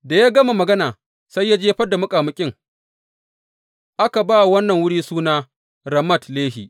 Da ya gama magana, sai ya jefar da muƙamuƙin; aka ba wa wannan wuri suna Ramat Lehi.